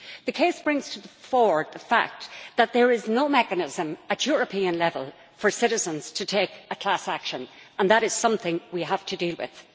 The case brings to the fore the fact that there is no mechanism at European level for citizens to take a class action, and that is something we have to deal with.